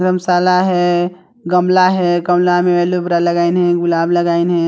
धर्मशाला है गमला है गमला में एलोवीरा लगाइन हे गुलाब लगाइन हे।